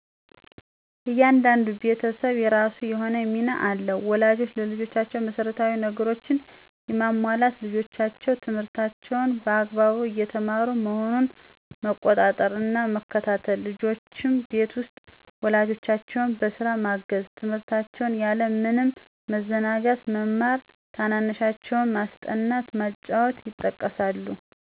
እያንዳንዱ ቤተሰብ የራሱ የሆነ ሚና አለው። ወላጆች ለልጆቻቸው መሰረታዊ ነገሮችን የማሟላት፣ ልጆቻቸው ትምህርታቸውን በአግባቡ እየተማሩ መሆኑን መቆጣጠር እና መከታተል፣ ልጆችም ቤት ውስጥ ወላጆቻቸውን በስጋ ማገዝ፣ ትምህርታቸውን ያለ ምንም መዘናጋት መማር፣ ታናናሻቸውን ማስጠናት፣ ማጫወት ይጠቀሳሉ።